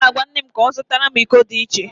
M ga-agwa nne m ka ọ zụtara m iko dị iche